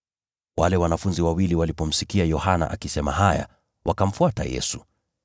Wale wanafunzi wawili walipomsikia Yohana akisema haya, wakamfuata Yesu.